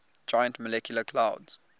giant molecular clouds